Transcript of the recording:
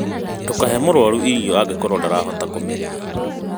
Ndũkahe mũrũaru irio angĩkorwo ndarahota kũmeria